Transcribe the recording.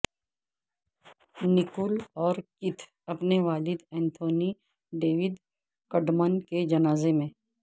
Nicole اور Keith اپنے والد انتونی ڈیوڈ کڈمن کے جنازے میں